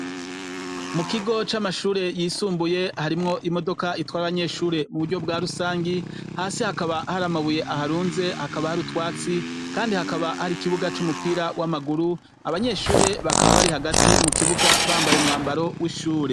Mu kigo ca mashuri yisumbuye harimwo imodoka itwara abanyeshuri mu buryo bwa rusangi, hasi hakaba hari amabuye aharunze hakaba hari utwatsi kandi hakaba hari ikibuga c'umupira w'amaguru abanyeshuri bakaba bari hagati mu kibuga bambaye umwambaro w'ishuri.